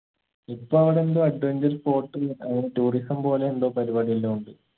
ഇപ്പൊ അവിടെന്തോ adventure sport ഉം അങ്ങന tourism പോലെ എന്തോ പരിപാടിയെല്ലു ഉണ്ട്